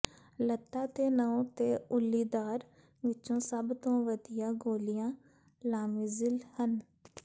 ਲੱਤਾਂ ਤੇ ਨਹੁੰ ਦੇ ਉੱਲੀਦਾਰ ਵਿੱਚੋਂ ਸਭ ਤੋਂ ਵਧੀਆ ਗੋਲੀਆਂ ਲਾਮਿਜ਼ਿਲ ਹਨ